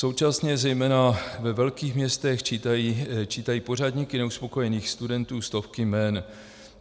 Současně zejména ve velkých městech čítají pořadníky neuspokojených studentů stovky jmen.